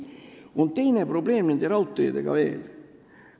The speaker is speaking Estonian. Ja on teine probleem raudteedega veel.